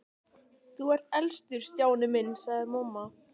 Þú ert elstur Stjáni minn sagði mamma.